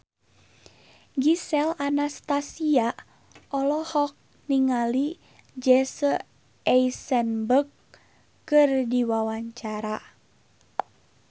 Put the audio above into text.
Gisel Anastasia olohok ningali Jesse Eisenberg keur diwawancara